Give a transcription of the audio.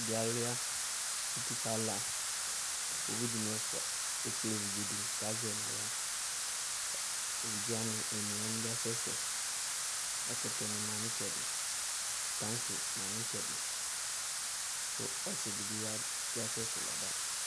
Adi alʋia kʋ utikpǝ ala Kʋ uvi dɩnɩ ɛfʋa ekple evidze dɩ kʋ azɛyɩ nʋ aɣla Evidze one wanɩ bɩ asɛ sɛ Ɛkʋtɛ nɩma nʋ ɩtsɛdɩ Taŋkɩ ma nʋ ɩtsɛdɩ kʋ ɔsɩ dɩ bɩ asɛ sɛ yaba